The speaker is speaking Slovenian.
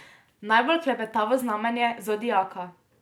Najbolj klepetavo znamenje zodiaka.